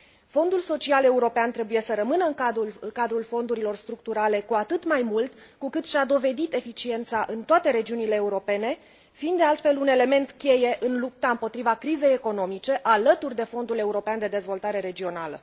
Fondul Social European trebuie să rămână în cadrul fondurilor structurale, cu atât mai mult cu cât și a dovedit eficiența în toate regiunile europene, fiind de altfel un element cheie în lupta împotriva crizei economice alături de Fondul European de Dezvoltare Regională.